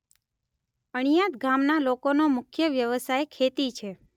અણીયાદ ગામના લોકોનો મુખ્ય વ્યવસાય ખેતી છે.